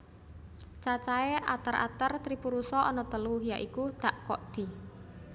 Cacahé ater ater tripurusa ana telu ya iku dak ko di